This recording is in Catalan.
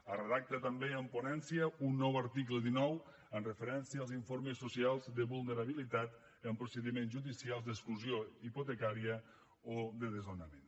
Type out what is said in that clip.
es redacta també en ponència un nou article dinou amb referència als informes socials de vulnerabilitat i amb procediments judicials d’exclusió hipotecària o de desnonament